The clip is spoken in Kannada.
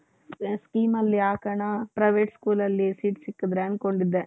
schemeಅಲ್ಲಿ ಹಾಕಣ private schoolಅಲ್ಲಿ seat ಸಿಕ್ಕಿದರೆ ಅಂದ್ಕೊಂಡಿದ್ದೆ.